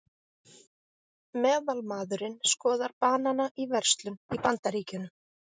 Meðalmaðurinn skoðar banana í verslun í Bandaríkjunum.